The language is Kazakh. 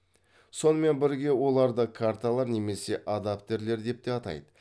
сонымен бірге оларды карталар немесе адаптерлер деп те атайды